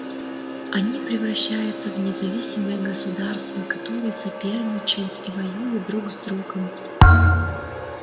они превращаются в независимые городагосударства которые соперничают и воюют друг с другом